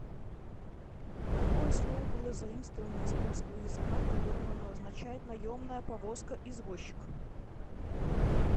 какое слово было заимствовано из польского языка в котором оно означает наемная повозка извозчик